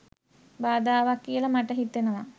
බාධාවක් කියල මට හිතෙනවා